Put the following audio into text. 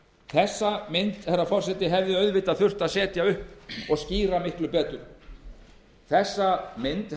þá mynd hefði þurft að setja upp og skýra miklu betur þá mynd